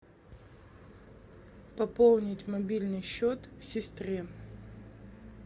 пополнить мобильный счет сестре